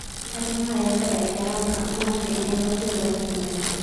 "Arrimaha ayaa ka dhaca garoonka, mana fiicna in wax weyn laga sameeyo."